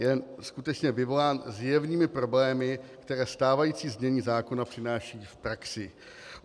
Je skutečně vyvolán zjevnými problémy, které stávající znění zákona přináší v praxi.